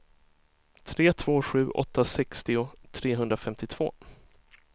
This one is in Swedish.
tre två sju åtta sextio trehundrafemtiotvå